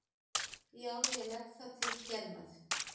Já, ég legg það til hér með.